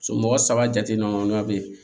Somɔgɔ saba jateminaman bɛ yen